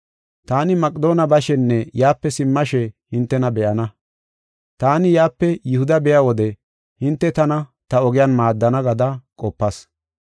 Taani Maqedoone bashenne yaape simmashe hintena be7ana. Taani yaape Yihuda biya wode hinte tana ta ogiyan maaddana gada qopas.